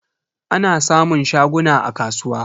Ana samun shaguna a kasuwa.